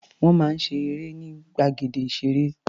Wọ́n máa ń ṣe eré ní gbàgede ìṣeré.